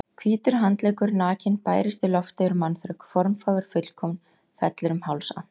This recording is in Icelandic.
Hvítur handleggur, nakinn, bærist í lofti yfir mannþröng, formfagur, fullkominn, fellur um háls Antons.